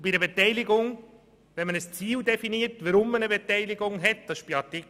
In Artikel 6 hat man das Ziel der Beteiligung definiert.